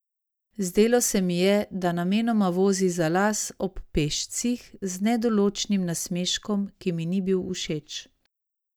Zdelo se mi je, da namenoma vozi za las ob pešcih, z nedoločnim nasmeškom, ki mi ni bil všeč.